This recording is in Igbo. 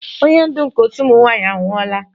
Onye ndu nke otu ụmụ nwanyị anwụọla